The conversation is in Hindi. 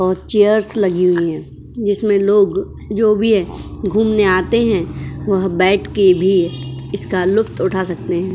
चैरस लगी हुई है जिसमें लोग जो भी है घूमने आते हैं वह बैठके भी इसका लुफ्त उठा सकते हैं।